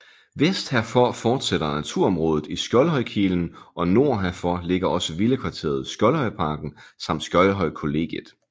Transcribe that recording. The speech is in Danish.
Vest herfor fortsætter naturområdet i Skjoldhøjkilen og nord herfor ligger også villakvarteret Skjoldhøjparken samt Skjoldhøjkollegiet